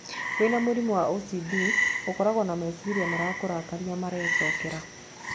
Wĩna mũrimũ wa OCD, ũkoragwo na meciria marakũrakaria marecokera.